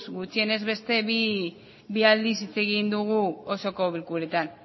gutxienez beste bi aldiz hitz egin dugu osoko bilkuretan